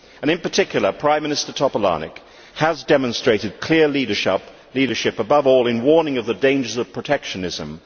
In particular, Prime Minister Topolánek has demonstrated clear leadership, above all in warning of the dangers of protectionism.